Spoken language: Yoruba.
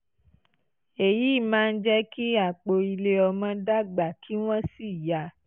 èyí máa ń jẹ́ kí àpò ilé ọmọ dàgbà kí wọ́n sì ya